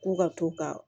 Ko ka to ka